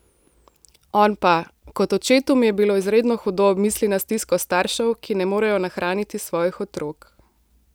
On pa: 'Kot očetu mi je bilo izredno hudo ob misli na stisko staršev, ki ne morejo nahraniti svojih otrok.